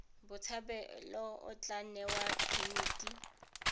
botshabelo o tla newa phemiti